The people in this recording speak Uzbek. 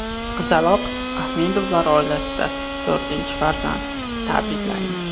Qizaloq Ahmedovlar oilasida to‘rtinchi farzand, tabriklaymiz!